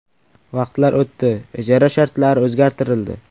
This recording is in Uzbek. Vaqtlar o‘tdi, ijara shartlari o‘zgartirildi.